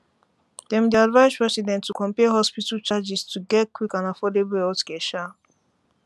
dem dey advise residents to compare hospital charges to um get quick and affordable healthcare um